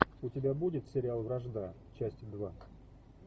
у тебя будет сериал вражда часть два